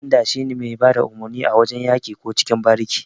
Ƙwamanda shine mai bada umurni a wajan yaki ko cikin bariki.